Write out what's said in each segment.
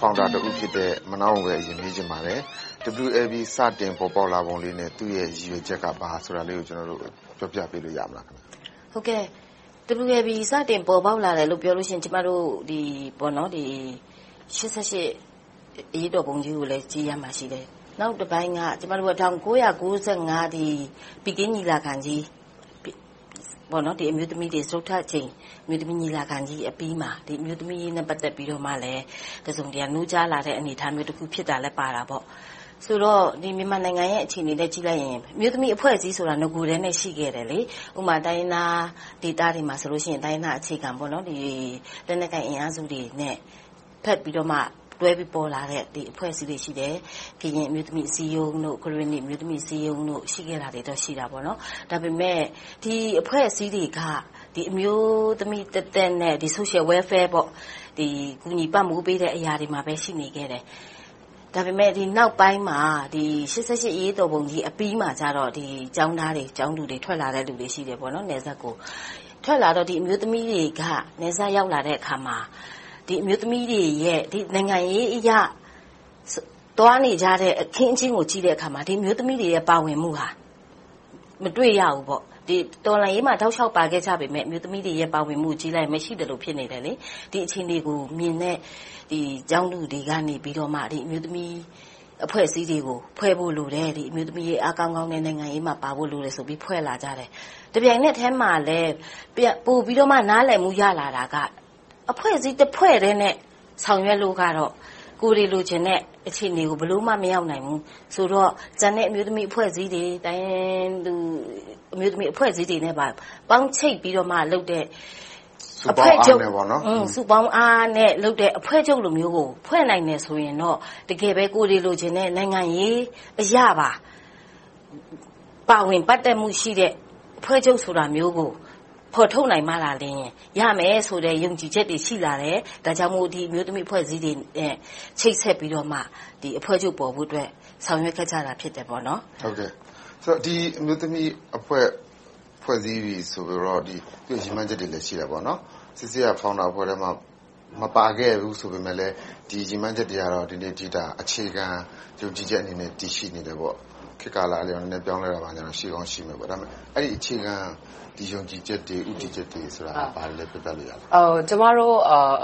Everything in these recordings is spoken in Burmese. Founder တဦးဖြစ်တဲ့ မနန်းယဉ်ကိုပဲ မေးချင်ပါတယ်။ WLB စတင်ပေါ်ပေါက်လာပုံလေးနဲ့ သူ့ရဲ့ ရည်ရွယ်ချက်က ဘာလဲဆိုတာလေးကို ပြောပြပေးလို့ ရမလား။ ဖြေ ။ ။ WLB စတင် ပေါ်ပေါက်လာတယ်လို့ ပြောမယ်ဆိုရင် ကျမတို့ ရှစ်ဆယ့်ရှစ် အရေးတော်ပုံကြီးကို ကြည့်ရမှာရှိတယ်။ နောက်တပိုင်းက ကျမတို့က ၁၉၅၅ ဘေဂျင်းညီလာခံကြီး စတုတ္ထအကြိမ် အမျိုးသမီးညီလာခံကြီးအပြီးမှာ အမျိုးသမီးအရေးနဲ့ ပတ်သက်ပြီးတော့မှ တစုံတရာ နိုးကြားလာတဲ့ အနေအထားလည်းဖြစ်တာ ပါတာပေါ့။ ဆိုတော့ မြန်မာနိုင်ငံအခြေအနေနဲ့ ကြည့်လိုက်ရင် အမျိုးသမီးအဖွဲ့အစည်းဆိုတာ နဂိုကတည်းက ရှိခဲ့တယ်။ ဥပမာ တိုင်းရင်းသားဒေသတွေမှာဆိုရင် တိုင်းရင်းသားအခြေခံ၊ လက်နက်ကိုင်အင်အားစုတွေနဲ့ တွဲဘက်ပြီးတော့ ပေါ်လာတဲ့ အဖွဲ့အစည်းတွေ ရှိတယ်။ ကရင်အမျိုးသမီးအစည်းအရုံး၊ ကရင်နီအမျိုးသမီးအစည်းအရုံး ရှိခဲ့တာတွေတော့ ရှိခဲ့တယ်။ ဒါပေမဲ့ ဒီအဖွဲ့အစည်းတွေက အမျိုးသမီးသက်သက်နဲ့ Social Welfare ကူညီပံ့ပိုးပေးတဲ့နေရာတွေမှာပဲ ရှိနေခဲ့တယ်။ ဒါပေမဲ့ ဒီနောက်ပိုင်းမှာ ရှစ်ဆယ့်ရှစ် အရေးတော်ပုံကြီးအပြီးမှာကြတော့ ထွက်လာတဲ့ ကျောင်းသားကျောင်းသူတွေက နယ်စပ်ကိုထွက်လာတော့ အမျိုးသမီးတွေက နယ်စပ်ရောက်လာတဲ့အခါမှာ နိုင်ငံရေးအရ သွားနေကြတဲ့ အခင်းအကျင်းကို ကြည့်တဲ့အခါမှာ အမျိုးသမီးတွေရဲ့ ပါဝင်မှုကို မတွေ့ရဘူး။ တော်လှန်ရေးမှာ တောက်လျှောက်ပါခဲ့ကြပေမယ့် အမျိုးသမီးတွေရဲ့ ပါဝင်မှုကိုကြည့်လိုက်ရင် ပါဝင်မှုမရှိသလို ဖြစ်နေတယ်။ ဒီအခြေအနေကိုမြင်တဲ့ ကျောင်းသူတွေက အမျိုးသမီးအဖွဲ့အစည်းတွေဖွဲ့ဖို့လိုတယ်။ အမျိုးသမီးတွေ အားကောင်းကောင်းနဲ့ နိုင်ငံရေးမှာပါဖို့လိုတယ်ဆိုပြီးတော့ ဖွဲ့လာကြတယ်။ တပြိုင်နက်ထဲမှာ ပိုပြီးနားလည်မှု ရလာတာက အဖွဲ့အစည်းတဖွဲ့တည်းနဲ့ ဆောင်ရွက်လို့ကတော့ ကိုယ်တွေလိုချင်ကြတဲ့ အခြေအနေကို ဘယ်လိုမှ မရောက်နိုင်ဘူးဆိုတော့ ကျန်တဲ့အမျိုးသမီးအဖွဲ့အစည်းတွေ တိုင်းရင်းသူအမျိုးသမီးအဖွဲ့အစည်းတွေနဲ့ပါ ပေါင်းချိတ်ပြီးတော့မှလုပ်တဲ့ စုပေါင်းအားနဲ့လုပ်တဲ့ အဖွဲ့ချုပ်လိုမျိုးကို ဖွဲ့နိုင်တယ်ဆိုရင်တော့ တကယ်ပဲ ကိုယ်တွေလိုချင်တဲ့ နိုင်ငံရေးအရပါ ပါဝင်ပတ်သက်တဲ့ အဖွဲ့ချုပ်ဆိုတာမျိုးကို ဖော်ထုတ်နိုင်မှသာ ရမယ်ဆိုတဲ့ ယုံကြည်ချက်တွေ ရှိလာတယ်။ ဒါကြောင့်မို့ ဒီအမျိုးသမီးအဖွဲ့အစည်းတွေနဲ့ ချိတ်ဆက်ပြီးတော့မှ အဖွဲ့ချုပ်ပေါ်ဖို့အတွက် ဆောင်ရွက်ခဲ့တာ ဖြစ်ပါတယ်။ မေး ။ ။ ဒီအမျိုးသမီးအဖွဲ့ ဖွဲ့စည်းပြီးပြီဆိုတော့ သူ့ရည်မှန်းချက်တွေလည်း ရှိတာပေါနော်။ နော်ဆဲဆဲ က Founder အဖွဲ့ထဲမှာ မပါခဲ့ဘူးဆိုပေမယ့် ဒီရည်မှန်းချက်တွေက ဒီနေ့အထိ အခြေခံယုံကြည်ချက်အနေနဲ့ တည်ရှိနေတယ်ပေါ့။ ခေတ်ကာလအပြောင်းအလဲကြောင့် အပြောင်းအလဲနည်းနည်း ရှိကောင်းရှိမယ်။ အဲဒီအခြေခံ ယုံကြည်ချက်တွေ၊ ဦးတည်ချက်တွေဆိုတာ ဘာတွေလဲ ပြောပြလို့ရမလား။ ဖြေ ။ ။ ကျမတို့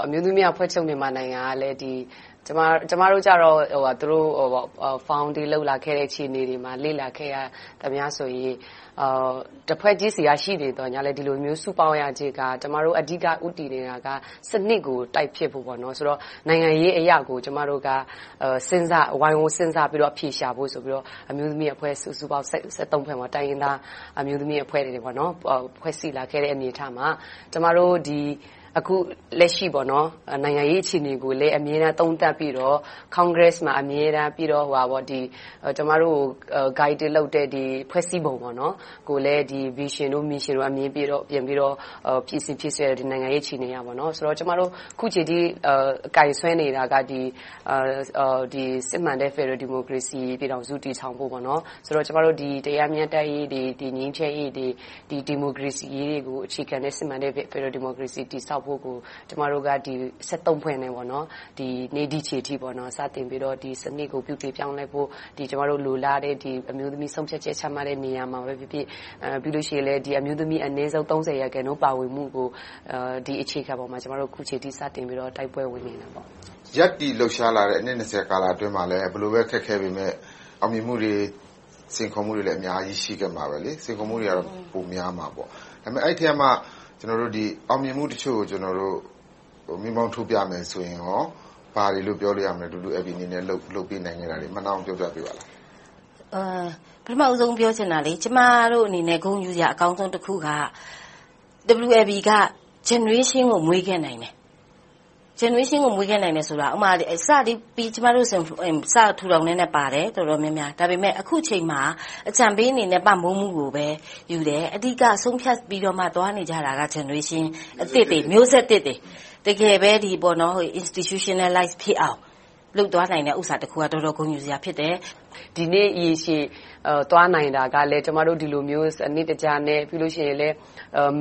အမျိုးသမီးအဖွဲ့ချုပ် မြန်မာနိုင်ငံက ကျမတို့ကြတော့ သူတို့ တည်ထောင်ခဲ့တဲ့အပေါ်ကို လေ့လာခဲ့တာ တဖွဲ့ချင်းအနေနဲ့ ရှိနေခဲ့ပြီး၊ ဒီလိုမျိုး စုပေါင်းရခြင်းက အဓိကဦးတည်နေတာက စနစ်ကို တိုက်ဖျက်ဖို့၊ နိုင်ငံရေးအရကို ကျမတို့က ဝိုင်းဝန်းစဉ်းစားပြီးတော့ အဖြေရှာဖို့ဆိုပြီးတော့ အမျိုးအဖွဲ့ စုစုပေါင်း ဖွဲ့မှာ တိုင်းရင်းသားအမျိုးသမီးအဖွဲ့တွေ ဖွဲ့စည်းလာတဲ့အနေအထားမှာ ကျမတို့ အခုလက်ရှိ နိုင်ငံရေးအခြေအနေကိုလည်း သုံးသပ်ပြီးတော့ Congress မှာ အမြဲတမ်း၊ ပြီးတော့ ကျမတို့ကို Guiding လုပ်တဲ့ ဖွဲ့စည်းပုံကိုလည်း Vision, Mission တို့ကို ပြင်ဆင်ပြီး လုပ်ခဲ့ပေမယ့် အခုအချိန်အထိ ကိုင်စွဲနေတာကတော့ စစ်မှန်တဲ့ ဖယ်ဒရယ်ပြည်ထောင်စု တည်ထောင်ဖို့ - ငြိမ်းချမ်းရေး၊ တရားမျှတရေး၊ ဒီမိုကရေစီရေးကို အခြေခံတဲ့ စစ်မှန်တဲ့ ဖယ်ဒရယ်ပြည်ထောင်စု တည်ဆောက်ဖို့ကို ကျမတို့ ဖွဲ့နဲ့ ဒီနေ့ဒီအချိန်အထိ စတင်ပြီးတော့ ဒီစနစ်ပြုပြင်ပြောင်းလဲဖို့ ကျမတို့ လိုလားတဲ့ အမျိုးသမီးဆုံးဖြတ်ချက် ချမှတ်တဲ့နေရာမှာပဲဖြစ်ဖြစ်၊ ပြီးတော့ အမျိုးသမီးတွေ အနည်းဆုံး ရာခိုင်နှုန်း ပါဝင်နိုင်ရေး အခြေခံပေါ်မှာ အခုအချိန်အထိ တိုက်ပွဲဝင်နေတာ ဖြစ်ပါတယ်။ မေး ။ ။ ရပ်တည်လှုပ်ရှားလာတဲ့ အနှစ် အတွင်းမှာလည်း ဘယ်လိုပဲ အခက်အခဲတွေ ရှိပေမယ့် အောင်မြင်မှုတွေ စိန်ခေါ်မှုတွေလည်း အများကြီး ရှိခဲ့မှာပါ။ စိန်ခေါ်မှုတွေကတော့ ပိုများမှာပေါ့။ ဒါပေမဲ့ အဲဒီအထဲကမှ အောင်မြင်မှုတချို့ကို မီးမှောင်းထိုးပြရမယ်ဆိုရင် ဘာတွေလို့ ပြောလို့ရမလဲ။ WLB အနေနဲ့ လုပ်ကိုင်ခဲ့တာတွေကို ပြောပြပေးပါလား။ ဖြေ ။ ။ ပထမဦးဆုံး ပြောချင်တာက ကျမတို့အနေနဲ့ ဂုဏ်ယူစရာအကောင်းဆုံးက WLB က Generation ကို မွေးခဲ့နိုင်တယ်။ Generation ကို မွေးခဲ့နိုင်တယ်ဆိုတာ စပြီးထူထောင်ကတည်းက ကျမတို့ တော်တော်များများပါခဲ့တယ်။ ဒါပေမဲ့ အခုအချိန်မှာ အကြံပေးအနေနဲ့ ပံ့ပိုးမှုကိုပဲယူတယ်။ အဓိက ဆုံးဖြတ်ပြီး သွားနေကြတာက Generation မျိုးဆက်သစ်တွေ တကယ်ပဲ Institutionalize ဖြစ်အောင် လုပ်သွားနိုင်တဲ့ကိစ္စတခုက တော်တော်ဂုဏ်ယူစရာတခု ဖြစ်တယ်။ ဒီနေ့ ရေရှည်သွားနိုင်တာကလည်း ကျမတို့ ဒီလိုမျိုး စနစ်တကျနဲ့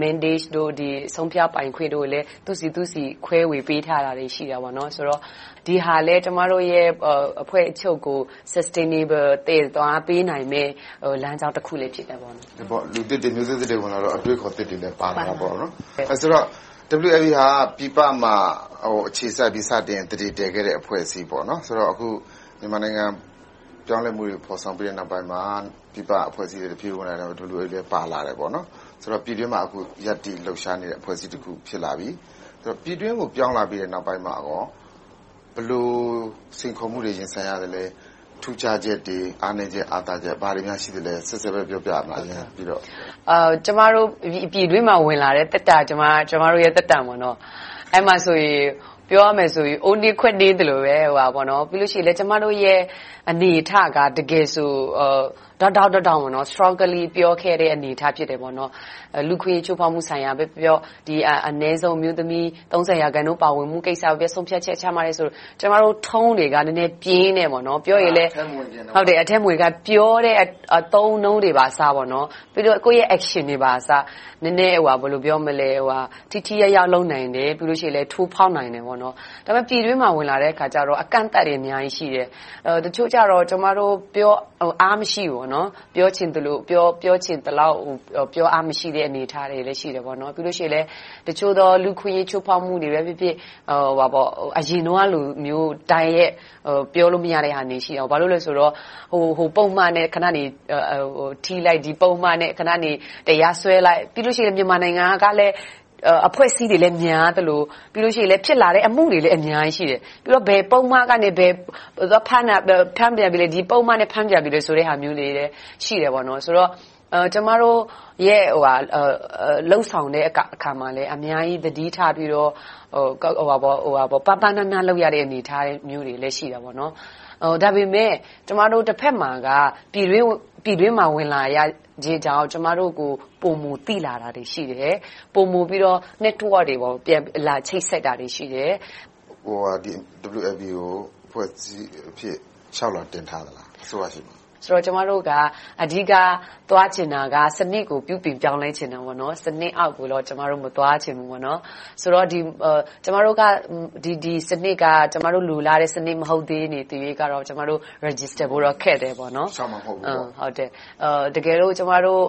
Mandate တို့၊ ဆုံးဖြတ်ပိုင်ခွင့်တွေလည်း အသီးသီး ခွဲဝေပေးထားတာတွေ ရှိတယ်။ ဆိုတော့ ဒီဟာလည်း အဖွဲ့ချုပ်ရဲ့ Substainable သွားပေးနိုင်တယ် လမ်းကြောင်းတခုလည်း ဖြစ်တယ်။ မေး ။ ။ လူသစ်တွေ၊ မျိုးဆက်သစ်တွေ ပါလာတော့ အတွေးအခေါ်သစ်တွေလည်း ပါလာတာပေါ့။ ဆိုတော့ WLB ဟာ ပြည်ပမှာ အခြေစိုက်ပြီးတော့ စတင်သန္ဓေတည်လာတဲ့ အဖွဲ့အစည်းဖြစ်ပြီး အခုမြန်မာနိုင်ငံ ပြောင်းလဲမှုတွေ ဖော်ဆောင်ပြီးတဲ့နောက်ပိုင်းမှာ ပြည်ပအဖွဲ့အစည်းတွေ ပြန်ဝင်လာတာ WLB လည်း ပါလာခဲ့တယ်။ ဆိုတော့ ပြည်တွင်းမှာ အခုရပ်တည် လှုပ်ရှားနေတဲ့ အဖွဲ့အစည်းတခု ဖြစ်လာပြီ။ ပြည်တွင်းကို ပြောင်းလာပြီးနောက်ပိုင်းမှာ ဘယ်လိုစိန်ခေါ်မှုတွေကို ရင်ဆိုင်ရသလဲ။ ထူးခြားချက်တွေ၊ အားနည်းချက်၊ အားသာချက်တွေ ဘာတွေများ ရှိပါသလဲ။ နော်ဆဲဆဲ ပြောပြပေးပါ။ ဖြေ ။ ။ ကျမတို့ ပြည်တွင်းမှာ ပြန်ဝင်လာတဲ့ သက်တမ်းက ကျမတို့ သက်တမ်း ဖြစ်တယ်။ အဲဒီမှာဆိုရင် ပြောရမယ်ဆိုရင် အိုးနင်းခွက်နင်းပါပဲ။ ပြီးတော့ ကျမတို့ရဲ့ အနေအထားက တကယ်ဆို ထောင့်တထောင့်ကနေ Strongly ပြောခဲ့တဲ့ အနေအထား ဖြစ်တယ်။ လူ့အခွင့်အရေး ချိုးဖောက်မှုကိုပဲပြောပြော၊ အနည်းဆုံး အမျိုးသမီး ရာခိုင်နှုန်း ပါဝင်မှုကိုပဲပြောပြော ဆုံးဖြတ်ချက်ချမှတ်တယ်ဆို ကျမတို့ Tone တွေက နည်းနည်းပြင်းတယ်။ ပြောရင်လဲ ပြောတဲ့အသုံးအနှုန်းတွေကအစ ပြီးတော့ ကိုယ့်ရဲ့ Action တွေပါ ထိထိရောက်ရောက် လုပ်နိုင်ရင်လဲ ထိုးဖောက်နိုင်တယ်။ ဒါပေမဲ့ ပြည်တွင်းမှာ ဝင်လာတဲ့အခါကြတော့ အကန့်အသတ်တွေ အများကြီးရှိတယ်။ တချို့ကြတော့ အားမရှိဘူး။ ပြောချင်သလောက် ပြောအားမရှိတဲ့ အနေအထားတွေလည်း ရှိတယ်။ ပြီးတော့ တချို့သော လူ့အခွင့်အရေး ချိုးဖောက်မှုတွေပဲဖြစ်ဖြစ် အရင်တုန်းကလို တိုက်ရိုက်ပြောလို့မရတာတွေ ရှိခဲ့တယ်။ ဘာဖြစ်လို့လဲဆိုတော့ ဟိုပုဒ်မနဲ့ထိလိုက်၊ ဒီပုဒ်မနဲ့ တရားစွဲလိုက်။ ခဏနေ မြန်မာနိုင်ငံမှာ အဖွဲ့အစည်းတွေကလည်း များသလို၊ ပြီးတော့ ဖြစ်လာတဲ့ အမှုတွေလည်း အများကြီးရှိတယ်။ ပြီးတော့ ဘယ်ပုဒ်မကနေ ဖမ်းပြန်ပြီ၊ ဒီပုဒ်မနဲ့ ဖမ်းပြန်ပြီဆိုတဲ့ ဟာမျိုးတွေလည်း ရှိတယ်ဆိုတော့ ကျမတို့ လုပ်ဆောင်တဲ့အခါမှာလဲ အများကြီးသတိထားပြီးတော့ ပါးပါးနပ်နပ် လုပ်ရတဲ့ အနေအထားမျိုးတွေလည်း ရှိပါတယ်။ ဒါပေမဲ့ တဘက်မှာက ပြည်တွင်းကို ဝင်လာခြင်းကြောင့် ကျမတို့ကို ပိုမိုသိလာတာတွေ ရှိတယ်။ ပိုမိုပြီးတော့ Network တွေ လာပြီးတော့ ချိတ်ဆက်တာတွေ ရှိတယ်။ မေး ။ ။ WLB ကို အဖွဲ့အစည်းအဖြစ် လျှောက်လွှာတင်ထားသလား။ အစိုးရဆီမှာ။ ဖြေ ။ ။ ကျမတို့က အဓိကသွားချင်တာက စနစ်ကို ပြုပြင်ပြောင်းလဲချင်တာ။ စနစ်အောက်ကိုတော့ ကျမတို့ မသွားချင်ဘူး။ ဆိုတော့ ဒီစနစ်က ကျမတို့ လိုလားတဲ့ စနစ်မဟုတ်သရွေ့ကတော့ ကျမတို့ မှတ်ပုံတင်ဖို့ ခက်နေသေးတယ်။ တကယ်လို့ ကျမတို့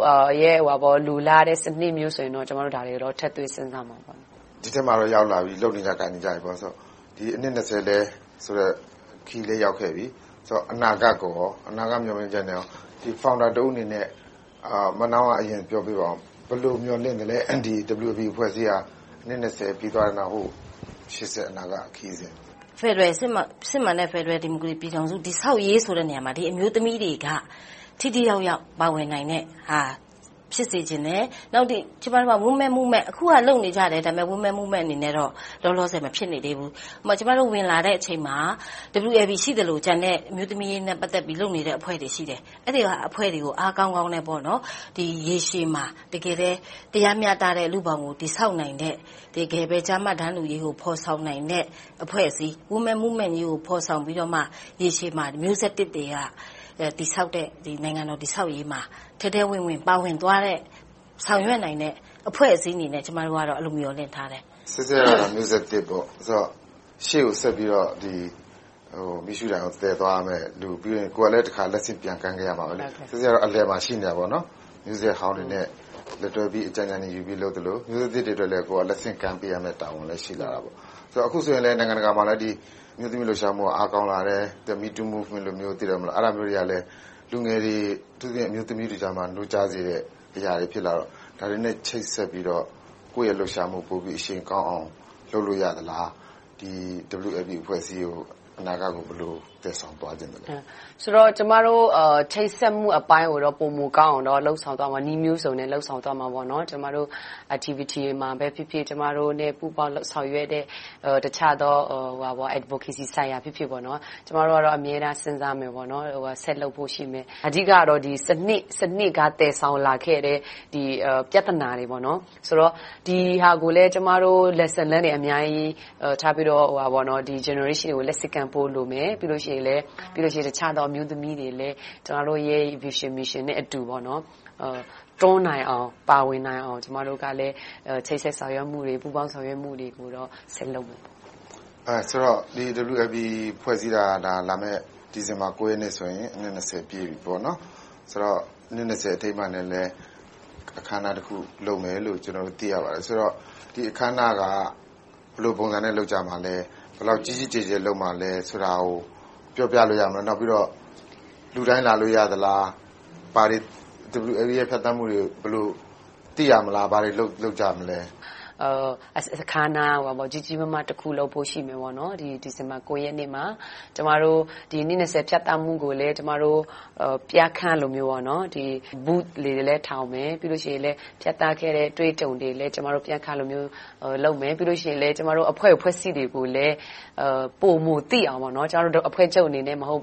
လိုလားတဲ့ စနစ်မျိုးဆိုရင်တော့ ဒါတွေကို ထည့်သွင်းစဉ်းစားသွားပါမယ်။ မေး ။ ။ ဒီထဲမှာတော့ ရောက်လာပြီ၊ လုပ်နေကိုင်နေကြပြီဆိုတော့ အနှစ် ခရီးလည်း ရောက်ခဲ့ပြီ။ အနာဂတ်မျှော်လင့်ချက်ကို Founder တဦးအနေနဲ့ ဦးစွာပြောပေးပါအုံး။ ဘယ်လို မျှော်လင့်သလဲ။ WLB အဖွဲ့အစည်းဟာ အနှစ် ပြီးသွားတဲ့နောက် ရှေ့ဆက်အနာဂတ်ခရီးကို - ဖြေ ။ ။ စစ်မှန်တဲ့ ဖယ်ဒရယ်ပြည်ထောင်စု တည်ဆောက်ရေးဆိုတဲ့ နေရာမှာ အမျိုးသမီးတွေက ထိထိရောက်ရောက် ပါဝင်နိုင်တဲ့ဟာ ဖြစ်စေချင်တယ်။ နောက်တခုက ကျမတို့က Women Movement လုပ်နေကြတယ်။ အခုဟာက Women Movement တခုအနေနဲ့ ဖြစ်မနေသေးဘူး။ ကျမတို့ ဝင်လာတဲ့အချိန်မှာ WLB ရှိသလို၊ ကျန်တဲ့ အမျိုးသမီးရေးနဲ့ ပတ်သက်ပြီး လုပ်နေတဲ့ အဖွဲ့တွေ ရှိတယ်။ အဲဒီအဖွဲ့တွေကို အားကောင်းကောင်းနဲ့ ရေရှည်မှာ တရားမျှတတဲ့ လူ့ဘောင်ကို တည်ဆောက်နိုင်တဲ့ တကယ်ပဲ ကျားမ တန်းတူရေးကို ဖော်ဆောင်နိုင်တဲ့ အဖွဲ့အစည်း Women Movement ကြီးကို ဖော်ဆောင်ပြီးမှ ရေရှည်မှာ မျိုးဆက်သစ်တွေက တည်ဆောက်တဲ့ နိုင်ငံတော် တည်ဆောက်ရေးမှာ ထဲထဲဝင်ဝင် ပါဝင်သွားတဲ့ ဆောင်ရွက်နိုင်တဲ့ အဖွဲ့အစည်းအနေနဲ့ ကျမတို့ကတော့ အဲဒီလို မျှော်လင့်ထားတယ်။ မေး ။ ။ နော်ဆဲဆဲ က မျိုးဆက်သစ် ဖြစ်တယ်။ ရှေ့ကိုဆက်ပြီးတော့ မီးရှူးတိုင်ကို သယ်ဆောင်သွားရမယ့်လူ။ ပြီးတော့ ကိုယ်ကလဲ လက်ဆင့်ပြန်ကမ်းခဲ့ရမယ်။ ဆဲဆဲ က အလယ်မှာ ရှိနေတာပေါ့။ မျိးဆက်ဟောင်းတွေနဲ့ လက်တွဲပြီး အကြံဉာဏ်ယူသလို၊ မျိုးဆက်သစ်တွေအတွက်လဲ ကိုယ်က လက်ဆင့်ကမ်းပေးရမယ့်တာဝန်တွေ ရှိလာတယ်။ အခုဆိုရင် နိုင်ငံတကာမှာလည်း အမျိုးသမီးလှုပ်ရှားမှုတွေက အားကောင်းလာတယ်။… လူငယ်တွေ အထူးသဖြင့် အမျိုးသမီးထုကြားမှာ နိုးကြားစေတဲ့အရာတွေ ဖြစ်လာတော့ ဒါတွေနဲ့ ချိတ်ဆက်ပြီးတော့ ကိုယ့်ရဲ့ လှုပ်ရှားမှု အရှိန်ကောင်းအောင် လုပ်လို့ရသလား။ WLB အဖွဲ့အစည်း အနာဂတ်ကို ဘယ်လိုသယ်ဆောင်သွားချင်သလဲ။ ဖြေ ။ ။ ကျမတို့ ချိတ်ဆက်မှုအပိုင်းကိုတော့ ပိုမိုကောင်းအောင် လုပ်ဆောင်သွားမယ်။ နည်းမျိုးစုံနဲ့ လုပ်ဆောင်သွားမယ်။ ကျမတို့ Activity တွေမှာပဲဖြစ်ဖြစ် ကျမတို့နဲ့ ပူးပေါင်းလုပ်ဆောင်ကြတဲ့ တခြားသော Adovocacy ဆိုင်ရာပဲဖြစ်ဖြစ်၊ ကျမတို့ကတော့ အမြဲတမ်း စဉ်းစားမယ်။ ဆက်လုပ်ဖို့ရှိတယ်။ အဓိကတော့ စနစ်က သယ်ဆောင်လာခဲ့တဲ့ ပြဿနာတွေ - ဒီဟာတွေကို ကျမတို့ Lessons Learned တွေ ထားပြီးတော့ နောက်မျိုးဆက်တွေကို လက်ဆင့်ကမ်းဖို့ လိုမယ်။ ပြီးတော့ အခြားသောအမျိုးသမီးတွေလဲ ကျမတို့ရဲ့ Vision, Mission နဲ့အတူ တွန်းနိုင်အောင်၊ ပါဝင်နိုင်အောင် ကျမတို့က ချိတ်ဆက်ဆောင်ရွက်မှုတွေ၊ ပူးပေါင်းဆောင်ရွက်မှုတွေကို ဆက်လုပ်သွားမယ်။ မေး ။ ။ ဆိုတော့ WLB ဖွဲ့စည်းတာ လာမယ့် ဒီဇင်ဘာ ရက်နေ့ဆိုရင် အနှစ် ပြည့်ပြီ။ ဆိုတော့ အနှစ် အထိမ်းအမှတ်အနေနဲ့ အခမ်းအနားတခု လုပ်မယ်လို့ ကျနော်တို့ သိရပါတယ်။ ဒီအခမ်းအနားကို ဘယ်လိုပုံစံနဲ့ လုပ်ကြမလဲ။ ဘယ်လောက်ကြီးကြီးကျယ်ကျယ် လုပ်မလဲဆိုတာကို ပြောပြလို့ရမလား။ နောက်ပြီးတော့ လူတိုင်းလာလို့ရသလား။ WLB ရဲ့ ဖြတ်သန်းမှုတွေကို ဘယ်လိုသိရမလဲ။ ဘာတွေလုပ်ကြမလဲ။ ဖြေ ။ ။ အခမ်းအနားတခု ကြီးကြီးမားမား လုပ်ဖို့တော့ ရှိတယ်။ ဒီဇင်ဘာလ ရက်နေ့မှာ ကျမတို့ အနှစ် ဖြတ်သန်းမှုကိုလည်း ပြခန်းသဘောမျိုး Booths တွေလည်း ထားရိှမယ်။ နောက်ပြီးတော့ ဖြတ်သန်းခဲ့တဲ့ အတွေ့အကြုံတွေကိုလည်း ပြခန်းသဘောမျိုး လုပ်မယ်။ အဖွဲ့အစည်းတွေကိုလည်း ပိုမိုသိအောင် ကျမတို့ အဖွဲ့ချုပ်အနေနဲ့ မဟုတ်